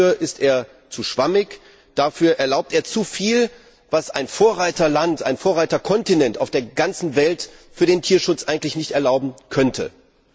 Dafür ist er zu schwammig, dafür erlaubt er zuviel, was ein Vorreiterland ein Vorreiterkontinent auf der ganzen Welt für den Tierschutz eigentlich nicht erlauben dürfte.